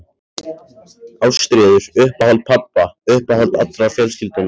Ástríður, uppáhald pabba, uppáhald allrar fjölskyldunnar.